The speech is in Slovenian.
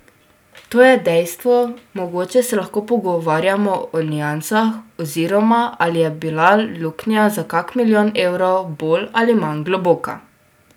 To je dejstvo, mogoče se lahko pogovarjamo o niansah oziroma ali je bila luknja za kak milijon evrov bolj ali manj globoka.